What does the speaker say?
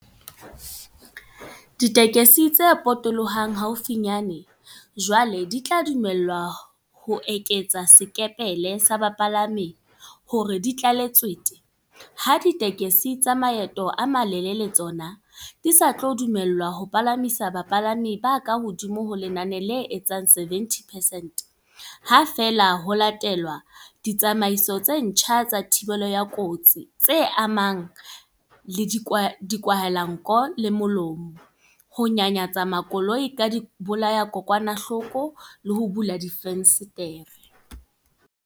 Ditekesi tse potolohang haufinyane jwale di tla dumellwa ho eketsa sekepele sa bapalami hore di tlale tswete, ha ditekesi tsa maeto a malelele tsona di sa tlo dumellwa ho palamisa bapalami ba kahodimo ho lenane le etsang 70 percent, ha feela ho latelwa ditsamaiso tse ntjha tsa thibelo ya kotsi tse amanang le dikwahelanko le molomo, ho nyanyatsa makoloi ka dibolayadikokwanahloko le ho bula difenstere.